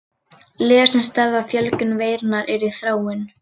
Lyf sem stöðva fjölgun veirunnar eru í þróun.